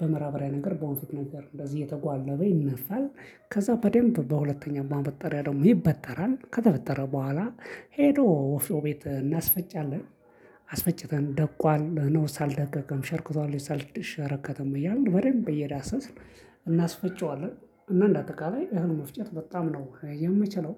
በማዳበሪያ ነገር በወንፊት ነገር እንደዚህ እየተጓለበ ይነፋል። ከዛ በደንብ በሁለተኛ ማበጠሪያ ደግሞ ይበጠራል ከተበጠረ በኋላ ሄዶ ወፍጮ ቤት እናስፈጫለን። አስፈጭተን ደቋል ነውስ አልደቀቀም ሽርክቷል ወይስ አልሸረከተም እያልን በደንብ እየዳሰስን። እናስፈጨዋለን እና እንደ አጠቃላይ እህል መፍጨት በጣም ነው ምችለው